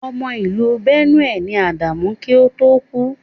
Ọmọ ìlú Benue ni Ádámù kí ó tó kú.